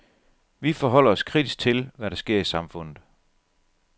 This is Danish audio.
Vi forholder os kritisk til, hvad der sker i samfundet.